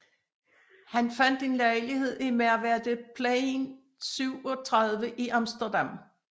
Han fandt en lejlighed i Merwedeplein 37 i Amsterdam